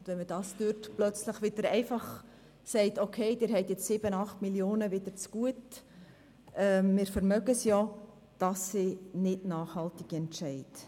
Wenn man plötzlich sagt, «Okay, Sie haben jetzt wieder 7 oder 8 Mio. Franken zugute, wir können es uns ja leisten.», dann sind das keine nachhaltigen Entscheide.